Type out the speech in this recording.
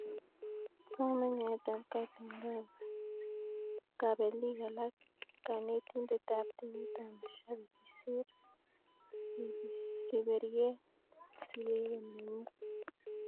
Asome nyoetab kat eng kabelik alak, kanetindet ab timit ak mashabik'. kisir Riberyeng siret nenyin.